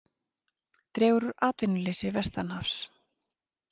Dregur úr atvinnuleysi vestanhafs